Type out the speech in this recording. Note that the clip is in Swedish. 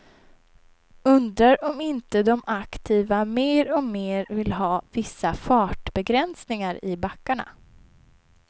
Undrar om inte de aktiva mer och mer vill ha vissa fartbegränsningar i backarna.